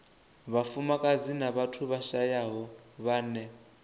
vhafumakadzi na vhathu vhashayaho vhane